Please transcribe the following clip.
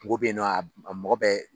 Mɔgɔ bɛ yen nɔ a mɔgɔ bɛ